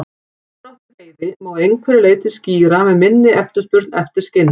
Samdrátt í veiði má að einhverju leyti skýra með minni eftirspurn eftir skinnum.